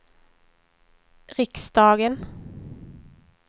riksdagen